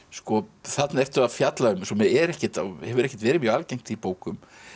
þarna ertu að fjalla um sem hefur ekkert hefur ekkert verið mjög algengt í bókum